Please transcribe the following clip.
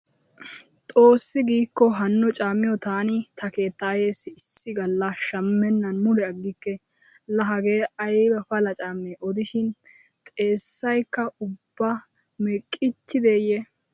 Xoossi giikko hanno caammiyo taani ta keettaayeessi issi galla shammennan mule aggikke. Laa hagee ayba pala caamme odishin xeessaykka ubba meqqiichchideeyye.